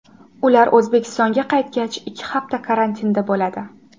Ular O‘zbekistonga qaytgach, ikki hafta karantinda bo‘ladi.